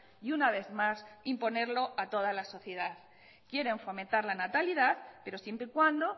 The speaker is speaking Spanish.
y una vez más imponerlo a toda la sociedad quieren fomentar la natalidad pero siempre y cuando